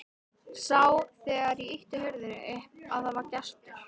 Sá þegar ég ýtti hurðinni upp að það var gestur.